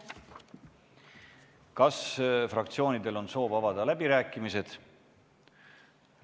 Kas fraktsioonidel on soov avada läbirääkimised?